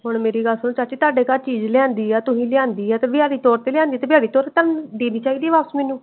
ਹੁਣ ਮੇਰੀ ਗੱਲ ਸੁਨ ਚਾਚੀ ਤਾੜੇ ਘਰ ਚੀਜ ਲਿਆਂਦੀ ਆ ਤੁਸੀਂ ਲਿਆਂਦੀ ਆ ਦਿਹਾੜੀ ਤੋੜ ਕ ਲਿਆਂਦੀ ਆ ਤੇ ਤੋੜ ਦੇਣੀ ਚਾਹੀਦੀ ਏ ਵਾਪਿਸ ਓਹਨੂੰ।